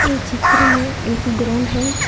इस चित्र में एक ग्राउंड है।